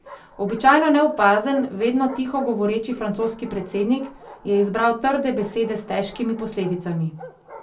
Običajno neopazen, vedno tiho govoreči francoski predsednik je izbral trde besede s težkimi posledicami.